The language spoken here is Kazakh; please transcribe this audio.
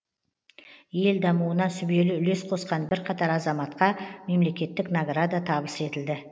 ел дамуына сүбелі үлес қосқан бірқатар азаматқа мемлекеттік награда табыс етілді